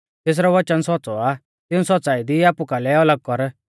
तैरौ वचन सौच़्च़ौ आ तिऊं सौच़्च़ाई दी आपु कालै अलग कर